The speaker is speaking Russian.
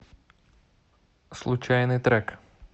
случайный трек